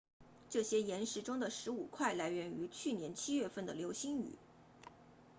这些岩石中的十五块来源于去年七月份的流星雨